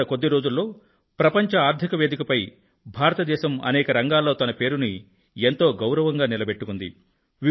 గత కొద్ది రోజుల్లో ప్రపంచ ఆర్థిక వేదిక పై భారత దేశం అనేక రంగాల్లో తన పేరును ఎంతో గౌరవంగా నిలబెట్టుకుంది